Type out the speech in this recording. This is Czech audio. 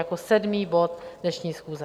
Jako sedmý bod dnešní schůze.